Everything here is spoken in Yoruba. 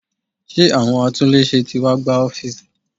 Ṣé àwọn atúnléṣe tí wá gbá ọ́fíísì?